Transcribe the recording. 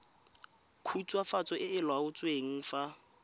khutswafatso e e laotsweng fa